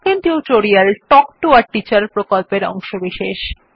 spoken tutorial talk to a teacher প্রকল্পের অংশবিশেষ